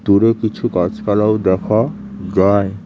দূরে কিছু গাছপালাও দেখা যায়।